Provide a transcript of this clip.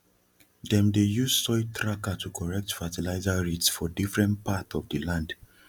them dey use soiltracker to correct fertilizer rates for different part of the land